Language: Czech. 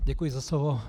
Děkuji za slovo.